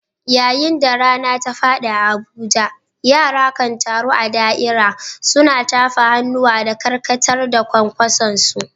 Yayin da rana ta faɗi a Abuja, yara kan taru a da’ira, suna tafa hannuwa da karkatar da kwankwasonsu.